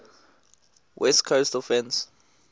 west coast offense